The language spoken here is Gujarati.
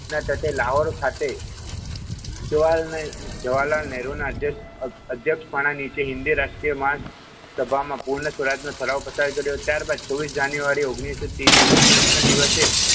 જવાલાલ નેહરોના અધ્યક્ષપાણા નીચે હિન્દી રાષ્ટ્રીય સભામાં પૂર્ણ સ્વરાજનો તરાહ પસાર કર્યો ત્યારબાદ છવ્વીસ જાન્યુઆરી ઓગણીસો તેવીસ ના દિવસે,